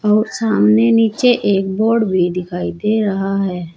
और सामने नीचे एक बोर्ड भी दिखाई दे रहा है।